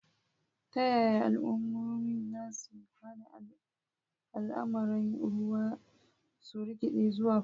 Ta yaya al'ummomi za su hana al'amuran ruwa su rikide zuwa fada?